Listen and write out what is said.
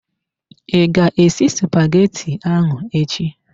I ga esi spaghetti ahụ echi?